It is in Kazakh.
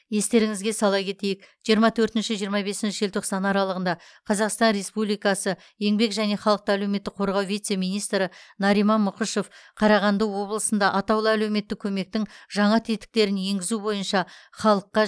естеріңізге сала кетейік жиырма төртінші жиырма бесінші желтоқсан аралығында қазақстан республикасы еңбек және халықты әлеуметтік қорғау вице министрі нариман мұкышев қарағанды облысында атаулы әлеуметтік көмектің жаңа тетіктерін енгізу бойынша халыққа